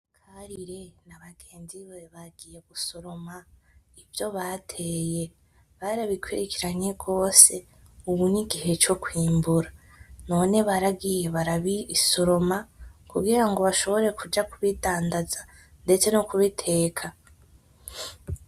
Karire na bagenzi be bagiye gusoroma ivyo bateye barabikurikiranye gose ubu nigihe co kwimbura, none baragiye barabisoroma kugira ngo bashobore kubidandaza ndetse no kubiteka.